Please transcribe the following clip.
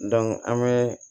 an bɛ